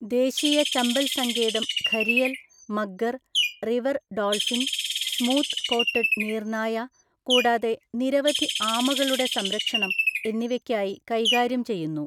ദേശീയ ചമ്പൽ സങ്കേതം gharial, mugger, river dolphin, smooth coated നീർനായ, കൂടാതെ നിരവധി ആമകളുടെ സംരക്ഷണം എന്നിവയ്ക്കായി കൈകാര്യം ചെയ്യുന്നു.